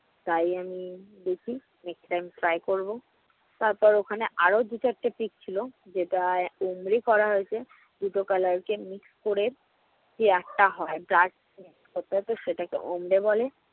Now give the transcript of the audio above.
তাই আমি দেখি next time try করব। তারপর ওখানে আর দুই-চারটে pic ছিল। যেটা উমরি করা হয়েছে। দুটো color কে mix করে যে art টা হয় সেটাকে বলে।